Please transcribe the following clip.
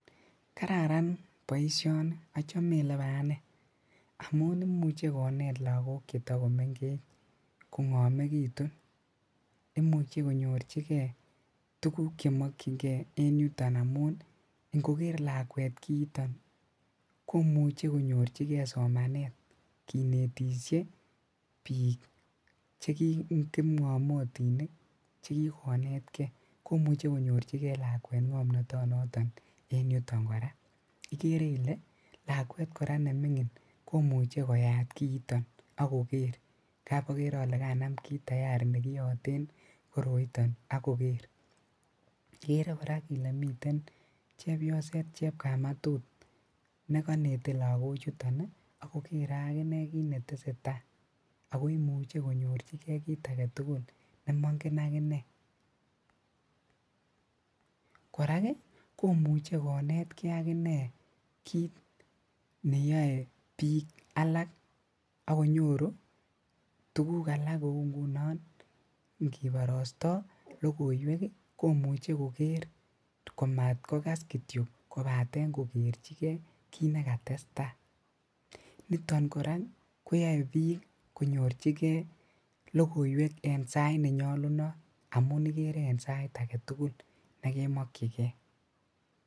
Kararan boisioni ochome olebo anee amun imuche konet lagok chetokomengech kongomegitun, imuche konyorjigee tuguk chemokyingee en yuton amun inkogek lakwet kiiton komuche konyorjigee somanet kinetisie bik kipngamotinik chekikonetgee komuche konyorjigee lakwet ngomnotonoton en yuton koraa, ikere ile lakwet koraa nemingin komuche koyat kiiton ok koger ingap okere ole kanam kit tayari nekiyoten koroiton ak koker, ikere koraa ile miten chepyoset chepkamatut nekonete lagochuton ak kokere ak kinetese taa ako imuche konyorjigee kit agetugul nemongen aginee, korak komuche konetkee akinee kit neyoe bik alak ak konyoru tuguk alak kou nguno inkiborostoo logoiwek komuche koker komaat kokas kityok kobaten kokerji gee kiit nekatestaa ,niton koraa koyoe bik konyorjigee logoiweek en sait nenyolunot amun ikere en sait agetugul negemokyigee.